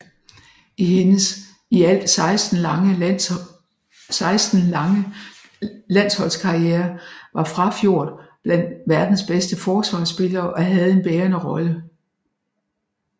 I hendes i alt 16 lange landsholdskarriere var Frafjord blandt verdens bedste forsvarspillere og havde en bærende rolle